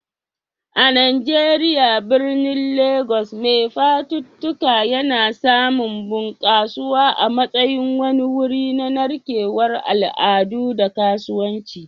A Najeriya, birnin Legas mai fafutuka yana samun bunƙasuwa a matsayin wani wuri na narkewar al'adu da kasuwanci.